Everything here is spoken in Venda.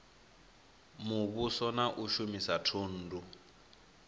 muvhuso na u shumisa thundu